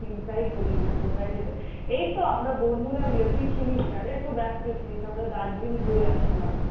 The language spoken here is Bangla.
চিন্তাই করি না কোথায় যেতে, এই তো আমরা বন্ধুরা মিলে তুই ছিলিস না, একটু ব্যাস্ত ছিলিস আমরা দার্জিলিং ঘুরে আসলাম,